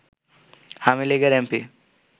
আওয়ামী লীগের এমপি